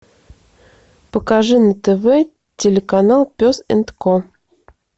покажи на тв телеканал пес энд ко